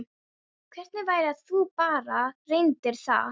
Hvernig væri að þú bara reyndir það?